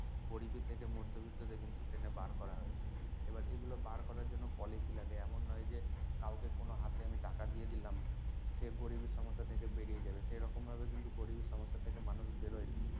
গরিবি থেকে মধ্যবিত্তে কিন্তু টেনে বার করা হয়েছে আবার এগুলো বার করার জন্য policy লাগে এমন নয় যে কাউকে কোনো হাতে আমি টাকা দিয়ে দিলাম সে গরিবি সমস্যা থেকে বেরিয়ে যাবে এরকম ভাবে কিন্তু গরিবি সমস্যা থেকে মানুষ বেরোয় না